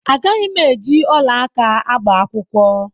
Agaghị m eji ọla aka agba akwụkwọ.